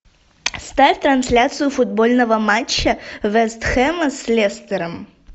ставь трансляцию футбольного матча вест хэма с лестером